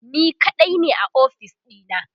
ni kaɗai ne a ofis ɗina